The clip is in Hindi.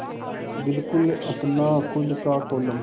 बिल्कुल अपना खु़द का कोलम